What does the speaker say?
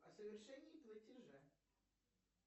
о совершении платежа